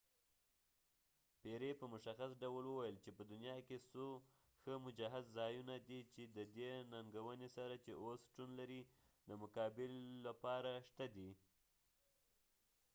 پیری په مشخص ډول وويل چې په دنیا کې څو ښه مجهز ځایونه دي چې ددې ننګونی سره چې اوس شتون لري دمقابلی لپاره شته دي